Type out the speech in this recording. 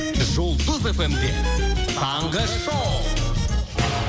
жұлдыз фм де таңғы шоу